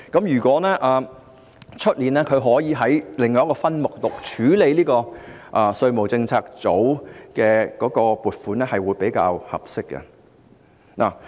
如果明年可以在另一總目獨立處理稅務政策組的撥款，我認為是比較合適的。